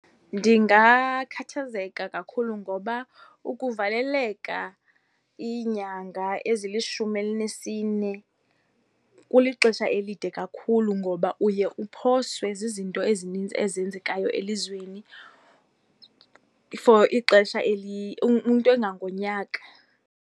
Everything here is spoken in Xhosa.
Ndingakhathazeka kakhulu ngoba ukuvaleleka iinyanga ezilishumi elinesine kulixesha elide kakhulu ngoba uye uphoswe zizinto ezininzi ezenzekayo elizweni for ixesha , into engangonyaka.